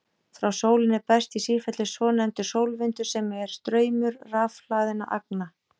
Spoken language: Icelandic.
Frá sólinni berst í sífellu svonefndur sólvindur sem er straumur rafhlaðinna agna.